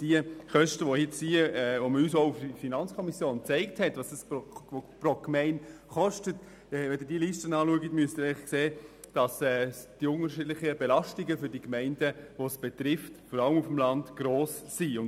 Die Kosten, zu denen uns die FiKo aufgezeigt hat, wie viel sie pro Gemeinde betragen, führen uns vor Augen, dass die unterschiedlichen Belastungen der betroffenen Gemeinden vor allem auf dem Land gross sind.